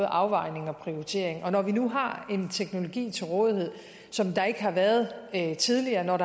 afvejning og prioritering og når vi nu har en teknologi til rådighed som der ikke har været tidligere når